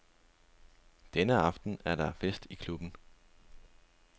Denne aften er der fest i klubben.